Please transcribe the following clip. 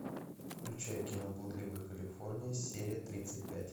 включай кино блудливая калифорния серия тридцать пять